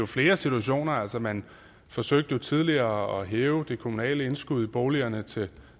flere situationer altså man forsøgte tidligere at hæve det kommunale indskud i boligerne til